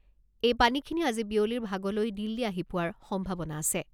এই পানীখিনি আজি বিয়লিৰ ভাগলৈ দিল্লী আহি পোৱাৰ সম্ভাৱনা আছে।